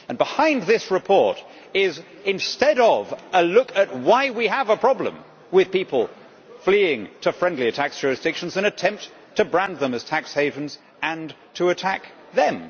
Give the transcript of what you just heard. Behind this report, instead of a look at why we have a problem with people fleeing to friendlier tax jurisdictions, is an attempt to brand them as tax havens and to attack them.